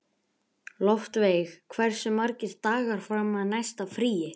Loftveig, hversu margir dagar fram að næsta fríi?